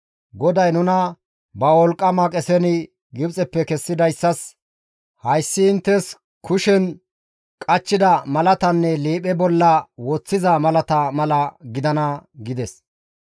GODAY nuna ba wolqqama qesen Gibxeppe kessidayssas, hayssi inttes kushen qachchida malatanne liiphe bolla woththida malata mala gidana» gides.